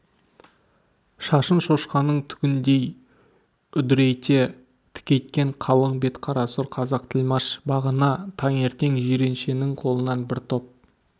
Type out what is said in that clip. шашын шошқаның түгіндей үдірейте тікейткен қалың бет қара сұр қазақ тілмаш бағана таңертең жиреншенің қолынан бір топ